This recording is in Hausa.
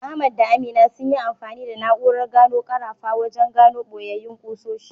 Ahmad da Aminu sun yi amfani da na’urar gano karafa wajen gano boyayyin ƙusoshi.